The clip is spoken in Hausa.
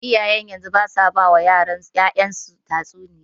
Iyayen yanzu basu wani ba ƴa'ƴansu tatsuniya.